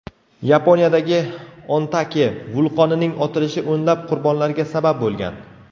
Yaponiyadagi Ontake vulqonining otilishi o‘nlab qurbonlarga sabab bo‘lgan.